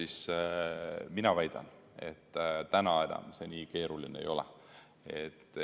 Mina väidan, et täna enam see nii keeruline ei ole.